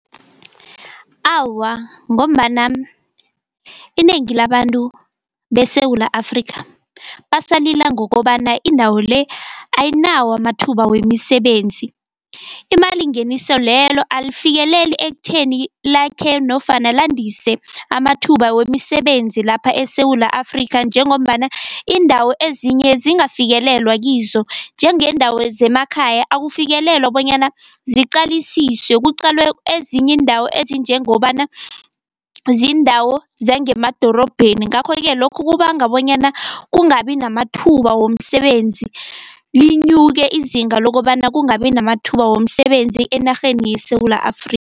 Awa, ngombana inengi labantu beSewula Afrika basalila ngokobana indawo le ayinawo amathuba wemisebenzi. Imalingeniso lelo alifikeleli ekutheni lakhe nofana landise amathuba wemisebenzi lapha eSewula Afrika, njengombana iindawo ezinye zingafikelelwa kizo njengeendawo zemakhaya akufikelelwa bonyana ziqalisiswe kuqalwe ezinye iindawo ezinjengobana ziindawo zangemadorobheni. Ngakho-ke lokhu kubanga bonyana kungabi namathuba womsebenzi linyuke izinga lokobana kungabi namathuba womsebenzi enarheni yeSewula